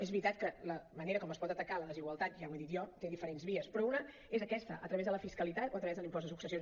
és veritat que la manera com es pot atacar la desigualtat ja ho he dit jo té diferents vies però una és aquesta a través de la fiscalitat o a través de l’impost de successions